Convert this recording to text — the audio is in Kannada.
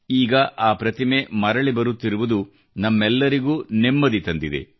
ಈಗ ಆ ಪ್ರತಿಮೆ ಮರಳಿ ಬರುತ್ತಿರುವುದು ನಮ್ಮೆಲ್ಲರಿಗೂ ನೆಮ್ಮದಿ ತಂದಿದೆ